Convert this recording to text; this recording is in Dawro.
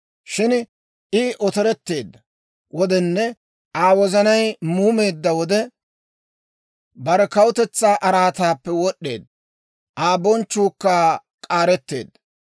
Shin I otoretteedda wodenne Aa wozanay muumeedda wode, bare kawutetsaa araataappe wod'd'eedda; Aa bonchchuukka k'aaretteedda.